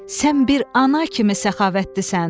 Sən bir ana kimi səxavətlisən.